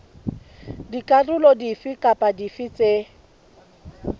dikarolo dife kapa dife tse